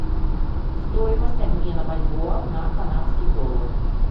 стоимость обмена бальбоа на канадский доллар